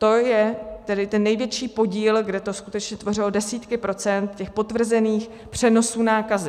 To je tedy ten největší podíl, kde to skutečně tvořilo desítky procent těch potvrzených přenosů nákazy.